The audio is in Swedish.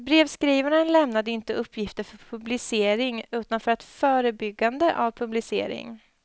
Brevskrivaren lämnade inte uppgifter för publicering utan för förebyggande av publicering.